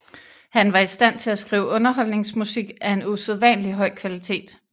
Han var i stand til at skrive underholdningsmusik af en usædvanlig høj kvalitet